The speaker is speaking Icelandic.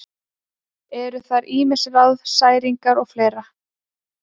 Eru þar ýmis ráð: særingar og fleira.